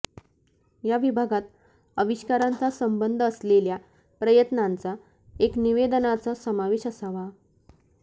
या विभागात आविष्कारांचा संबंध असलेल्या प्रयत्नांचा एक निवेदनाचा समावेश असावा